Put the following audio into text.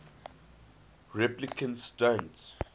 replicants don't